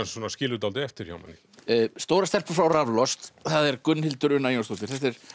skilur dálítið eftir hjá manni stórar stelpur fá raflost það er Gunnhildur Una Jónsdóttir